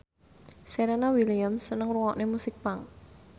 Serena Williams seneng ngrungokne musik punk